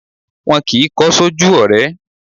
Wọn kì í kọ́ sójú ọ̀rẹ́